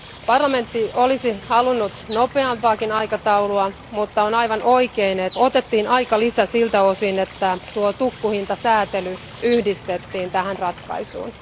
Parlamentti olisi halunnut nopeampaakin aikataulua, mutta on aivan oikein, että tässä otettiin aikalisä siltä osin, että tuo tukkuhintasäätely yhdistettiin tähän ratkaisuun.